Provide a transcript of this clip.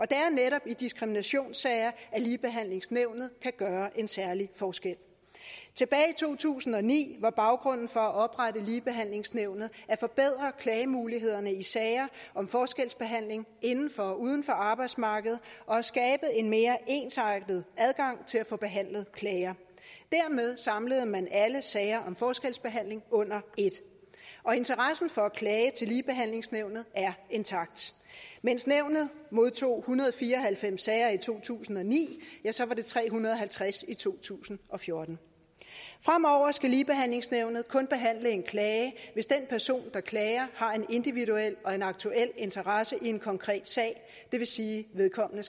det er netop i diskriminationssager at ligebehandlingsnævnet kan gøre en særlig forskel tilbage i to tusind og ni var baggrunden for at oprette ligebehandlingsnævnet at forbedre klagemulighederne i sager om forskelsbehandling inden for og uden for arbejdsmarkedet og at skabe en mere ensartet adgang til at få behandlet klager dermed samlede man alle sager om forskelsbehandling under et og interessen for at klage til ligebehandlingsnævnet er intakt mens nævnet modtog en hundrede og fire og halvfems sager i to tusind og ni ja så var det tre hundrede og halvtreds i to tusind og fjorten fremover skal ligebehandlingsnævnet kun behandle en klage hvis den person der klager har en individuel og en aktuel interesse i en konkret sag det vil sige at vedkommende